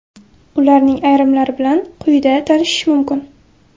Ularning ayrimlari bilan quyida tanishish mumkin.